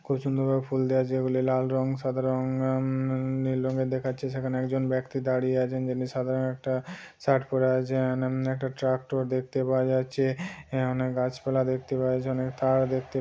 খুব সুন্দর ভাবে ফুল দেওয়া আছে যেগুলি লাল রং সাদা রং উম আম নিল রংয়ের দেখাচ্ছে সেখানে একজন বেক্তি দারিয়ে আছেন যিনি সাদা রংয়ের একটা শার্ট পরে আছেন উম একটা ট্রাকটর দেখতে পাওয়া যাচ্ছে অনেক গাছপালা দেখতে পাওয়া যাচ্ছে অনেক তার দেখতে --